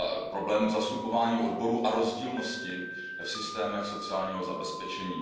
problémy zastupování odborů a rozdílnosti v systémech sociálního zabezpečení.